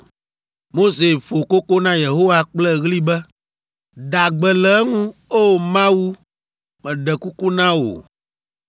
Mose ƒo koko na Yehowa kple ɣli be, “Da gbe le eŋu, O! Mawu, meɖe kuku na wò!”